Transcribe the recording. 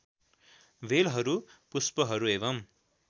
बेलहरू पुष्पहरू एवम्